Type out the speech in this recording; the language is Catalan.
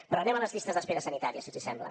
però anem a les llistes d’espera sanitàries si els sembla